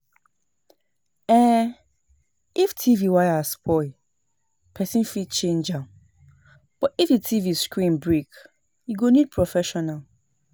um If TV wire spoil person fit change am but if di TV screen break e go need professional